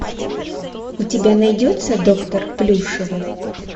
у тебя найдется доктор плюшева